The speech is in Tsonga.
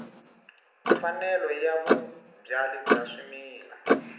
mfanelo ya vabyali va swimila